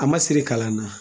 A ma siri kalan na